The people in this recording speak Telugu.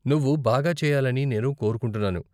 నువ్వు బాగా చెయ్యాలని నేను కోరుకుంటున్నాను.